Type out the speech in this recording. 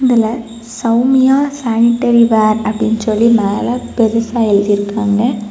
இதுல Soumya sanitary ware அப்படின்னு சொல்லி மேல பெருசா எழுத்திருக்காங்க.